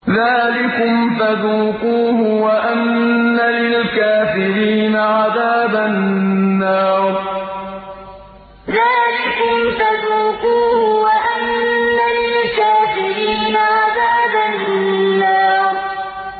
ذَٰلِكُمْ فَذُوقُوهُ وَأَنَّ لِلْكَافِرِينَ عَذَابَ النَّارِ ذَٰلِكُمْ فَذُوقُوهُ وَأَنَّ لِلْكَافِرِينَ عَذَابَ النَّارِ